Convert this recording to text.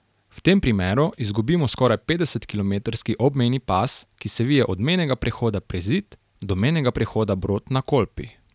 V tem primeru izgubimo skoraj petdesetkilometrski obmejni pas, ki se vije od mejnega prehoda Prezid do mejnega prehoda Brod na Kolpi.